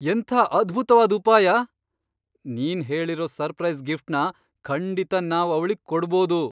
ಎಂಥ ಅದ್ಭುತ್ವಾದ್ ಉಪಾಯ! ನೀನ್ ಹೇಳಿರೋ ಸರ್ಪ್ರೈಸ್ ಗಿಫ್ಟ್ನ ಖಂಡಿತ ನಾವ್ ಅವ್ಳಿಗ್ ಕೊಡ್ಬೋದು.